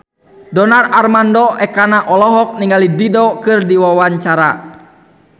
Donar Armando Ekana olohok ningali Dido keur diwawancara